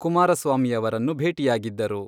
ಕುಮಾರಸ್ವಾಮಿಯವರನ್ನು ಭೇಟಿಯಾಗಿದ್ದರು.